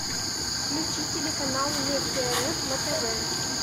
включи телеканал вместе рф на тв